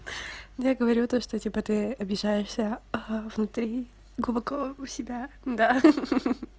я говорю то что типа ты обижаешься а внутри глубоко у себя да ха-ха